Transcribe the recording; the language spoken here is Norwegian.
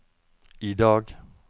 idag